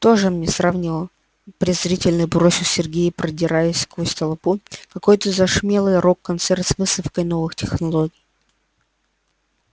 тоже мне сравнила презрительно бросил сергей продираясь сквозь толпу какой-то замшелый рок-концерт с выставкой новых технологий